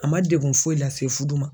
A ma degun foyi lase fudu ma.